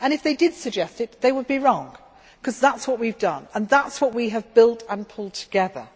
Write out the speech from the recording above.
If they did suggest it, they would be wrong, because that is what we have done and that is what we have built and pulled together.